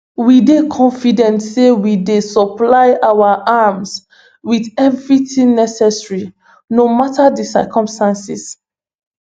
we dey confident say we dey supply our army wit everything necessary no mata di circumstances